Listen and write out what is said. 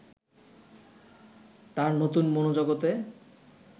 তাঁর নতুন মনোজগতে